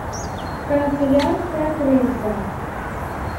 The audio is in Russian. канцелярская крыса